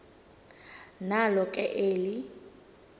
nalo ke eli